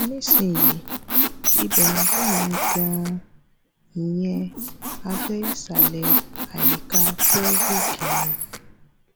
ní sìn yìí ibẹ̀ ń dùn mí gan-an ìyẹn abẹ́ ìsàlẹ̀ àyíká pelvic mi